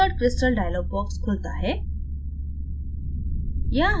insert crystal dialog box खुलता है